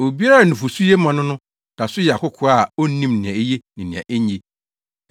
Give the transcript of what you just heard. Obiara a nufusu ye ma no no da so yɛ akokoaa a onnim nea eye ne nea enye.